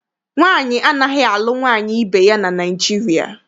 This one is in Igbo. Nwaanyị anaghị alụ nwaanyị ibe ya na Naịjirịa.